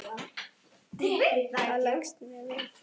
Það leggst vel í mig.